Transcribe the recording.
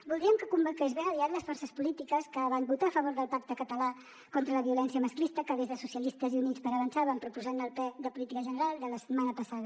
voldríem que convoqués ben aviat les forces polítiques que vam votar a favor del pacte català contra la violència masclista que des de socialistes i units per avançar vam proposar en el ple de política general de la setmana passada